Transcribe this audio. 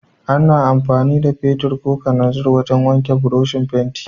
Ana amfani da fetir ko kananzir wajan wanke burushin fenti